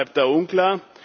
Der Rat bleibt da unklar.